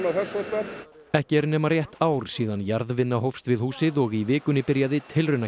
þess háttar ekki er nema rétt ár síðan jarðvinna hófst við húsið og í vikunni byrjaði